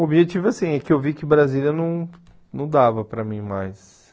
O objetivo é assim, é que eu vi que Brasília não não dava para mim mais.